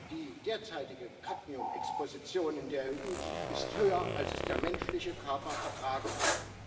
Die derzeitige Cadmiumexposition in der EU ist höher, als es der menschliche Körper vertragen kann.